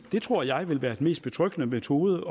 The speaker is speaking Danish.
det tror jeg vil være den mest betryggende metode